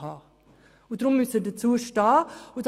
Deshalb müssen Sie dazu stehen!